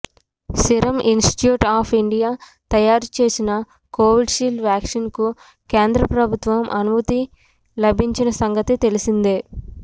serum Institute of India తయారు చేసిన Covishield వ్యాక్సిన్కు కేంద్ర ప్రభుత్వం అనుమతి లభించిన సంగతి తెలిసిందే